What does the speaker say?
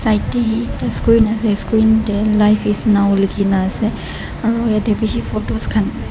yate ekta screen ase screen teh life is now likhi na ase aro yate bishi photos khan.